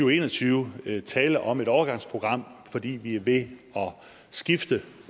og en og tyve tale om et overgangsprogram fordi vi er ved at skifte